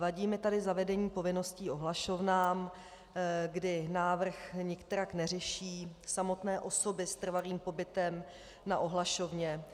Vadí mi tady zavedení povinností ohlašovnám, kdy návrh nikterak neřeší samotné osoby s trvalým pobytem na ohlašovně.